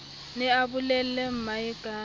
ne a bolelle mmae ka